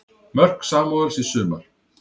Mörk Samúels í sumar